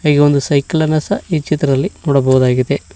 ಹೀಗೊಂದು ಸೈಕಲ್ಲನ್ನು ಸಹ ಈ ಚಿತ್ರದಲ್ಲಿ ನೋಡಬಹುದಾಗಿದೆ.